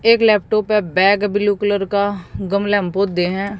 एक लैपटॉप है bag blue colour का गमला में पौधे हैं।